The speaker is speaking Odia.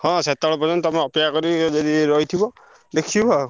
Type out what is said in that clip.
ହଁ ସେତବେଳ ପର୍ଯନ୍ତ ତମେ ଅପେକ୍ଷା କରି ଯଦି ରହି ଥିବ ଦେଖିବ ଆଉ।